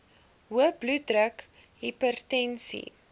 hoë bloeddruk hipertensie